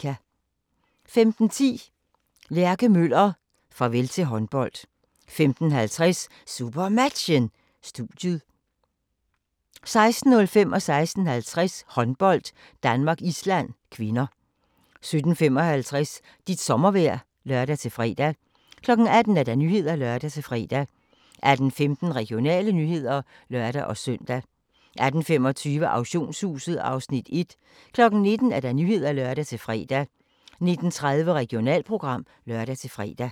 15:10: Lærke Møller - farvel til håndbold 15:50: SuperMatchen: Studiet 16:05: Håndbold: Danmark-Island (k) 16:50: Håndbold: Danmark-Island (k) 17:55: Dit sommervejr (lør-fre) 18:00: Nyhederne (lør-fre) 18:15: Regionale nyheder (lør-søn) 18:25: Auktionshuset (Afs. 1) 19:00: Nyhederne (lør-fre) 19:30: Regionalprogram (lør-fre)